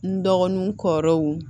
N dɔgɔnin kɔrɔw